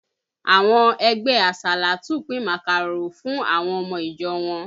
Àwọn ẹgbẹ alásàlátù pin màkàró fún àwọn ọmọ ìjọ wọn.